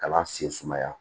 Kalan sen sumaya